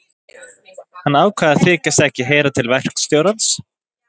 Hann ákvað að þykjast ekki heyra til verkstjórans.